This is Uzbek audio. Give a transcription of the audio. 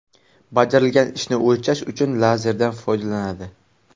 Bajarilgan ishni o‘lchash uchun lazerlardan foydalaniladi.